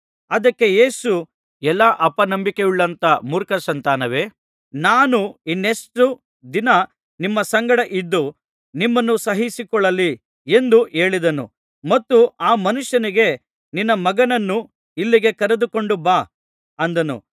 ಅದಕ್ಕೆ ಯೇಸು ಎಲಾ ಅಪನಂಬಿಕೆಯುಳ್ಳಂಥ ಮೂರ್ಖಸಂತಾನವೇ ನಾನು ಇನ್ನೆಷ್ಟು ದಿನ ನಿಮ್ಮ ಸಂಗಡ ಇದ್ದು ನಿಮ್ಮನ್ನು ಸಹಿಸಿಕೊಳ್ಳಲಿ ಎಂದು ಹೇಳಿದನು ಮತ್ತು ಆ ಮನುಷ್ಯನಿಗೆ ನಿನ್ನ ಮಗನನ್ನು ಇಲ್ಲಿಗೆ ಕರೆದುಕೊಂಡು ಬಾ ಅಂದನು